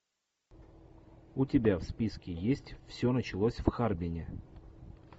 у тебя в списке есть все началось в харбине